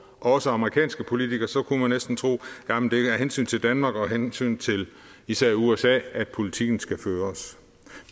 også amerikanske politikere så kunne man næsten tro at af hensyn til danmark og af hensyn til især usa at politikken skal føres